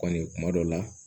Kɔni kuma dɔ la